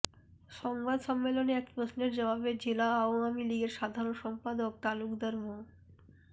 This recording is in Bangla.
সংবাদ সম্মেলনে এক প্রশ্নের জবাবে জেলা আওয়ামী লীগের সাধারণ সম্পাদক তালুকদার মো